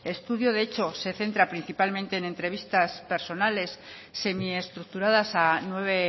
estudio de hecho se centra principalmente en entrevistas personales semiestructuradas a nueve